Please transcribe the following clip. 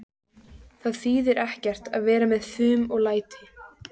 Það þýðir ekkert að vera með fum og læti.